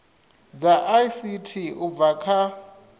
dza ict u bva kha